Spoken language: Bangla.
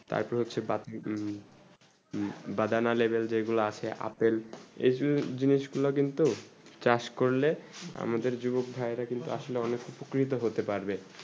তার পরে হচ্ছেই বাড়ান বেদনালেভেল যে গুলু আছে apple এই জিনিস গুলু কিন্তু চাষ করলে আমাদের যুবক ভাই রা কিন্তু আসলে অনেক উপকৃত হতে পারবে